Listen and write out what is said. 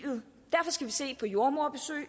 unge